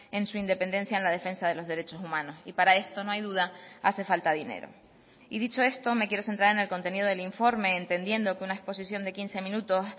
en su independencia en la defensa de los derechos humanos y para esto no hay duda hace falta dinero y dicho esto me quiero centrar en el contenido del informe entendiendo que una exposición de quince minutos